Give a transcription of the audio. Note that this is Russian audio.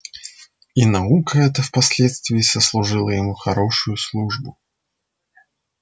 и наука эта в последствии сослужила ему хорошую службу